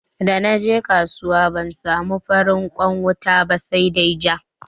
Da naje kasuwa ban samu farin kwan wuta ba sa dai ja.